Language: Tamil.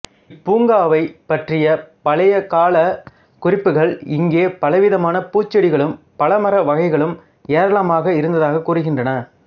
இப் பூங்காவைப் பற்றிய பழையகாலக் குறிப்புக்கள் இங்கே பலவிதமான பூஞ்செடிகளும் பழமர வகைகளும் ஏராளமாக இருந்ததாகக் கூறுகின்றன